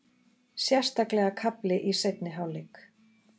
Sérstaklega kafli í seinni hálfleik.